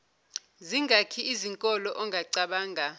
zingaki izinkolo ongacabanga